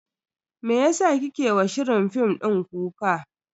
Meyasa kike wa shirin fim din kuka?